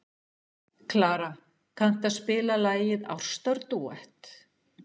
Klara, kanntu að spila lagið „Ástardúett“?